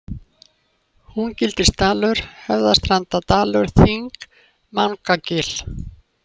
Húngilsdalur, Höfðastrandardalur, Þing, Mangagil